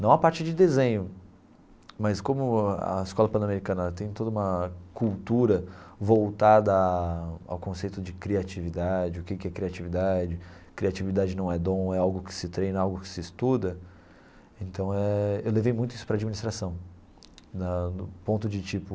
não a parte de desenho, mas como a escola Panamericana tem toda uma cultura voltada ao conceito de criatividade, o que que é criatividade, criatividade não é dom, é algo que se treina, algo que se estuda, então eh eu levei muito isso para a administração, na no ponto de tipo,